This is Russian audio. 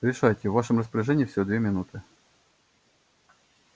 решайте в вашем распоряжении всего две минуты